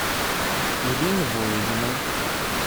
ирине булыгиной